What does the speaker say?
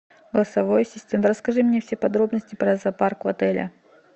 голосовой ассистент расскажи мне все подробности про зоопарк в отеле